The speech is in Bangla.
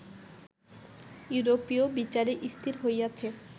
ইউরোপীয় বিচারে স্থির হইয়াছে